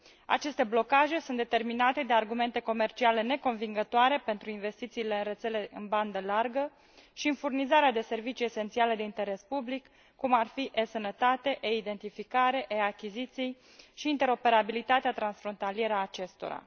Aceste blocaje sunt determinate de argumente comerciale neconvingătoare pentru investițiile în rețelele în bandă largă și în furnizarea de servicii esențiale de interes public, cum ar fi eSănătate, eIdentificare, eAchiziții și interoperabilitatea transfrontalieră a acestora.